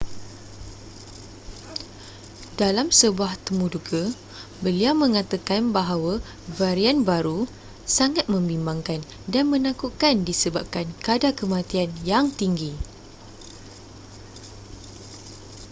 dalam sebuah temuduga beliau mengatakan bahawa varian baru sangat membimbangkan dan menakutkan disebabkan kadar kematian yang tinggi